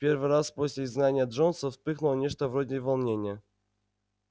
в первый раз после изгнания джонса вспыхнуло нечто вроде волнения